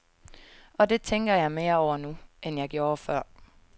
Og det tænker jeg mere over nu, end jeg gjorde før.